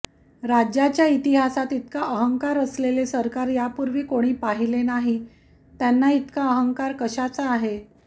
राज्याच्या इतिहासात इतका अहंकार असलेले सरकार यापूर्वी कोणी पाहिले नाही त्यांना इतका अहंकार कशाचा आहे